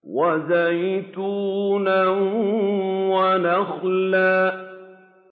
وَزَيْتُونًا وَنَخْلًا